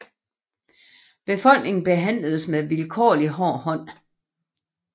Befolkningen behandles med vilkårlig hård hånd